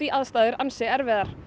aðstæður ansi erfiðar